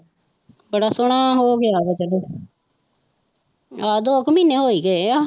ਬੜਾ ਸੋਹਣਾ ਉਹ ਹੋ ਗਿਆ ਵਾ ਚਲੋ ਆਹੋ ਦੋ ਕੁ ਮਹੀਨੇ ਹੋ ਹੀ ਗਏ ਆ